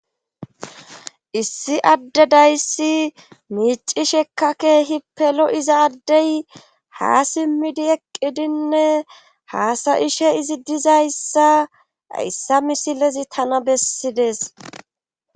Issi adde dayssi miicishekka keehippelo iza addey ha simmidi eqqidinne haasayishe izi dizayssa yssa misilezi tana bessides.